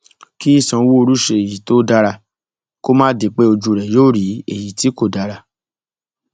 kí sanwóoru ṣe èyí tó dára kó má di pé ojú rẹ yóò rí èyí tí kò dára